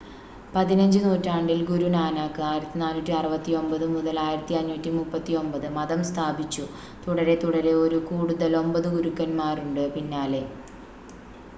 15 നൂറ്റാണ്ടിൽ ഗുരു നാനാക്ക് 1469–1539 മതം സ്ഥാപിച്ചു. തുടരെത്തുടരെ ഒരു കൂടുതൽ 9 ഗുരുക്കന്മാരുണ്ട് പിന്നാലെ